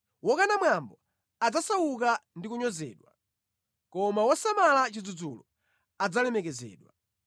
Wokana mwambo adzasauka ndi kunyozedwa, koma wosamala chidzudzulo adzalemekezedwa.